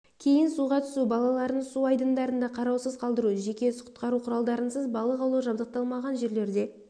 кейін суға түсу балаларын су айдындарында қараусыз қалдыру жеке құтқару құралдарынсыз балық аулау жабдықталмаған жерлерде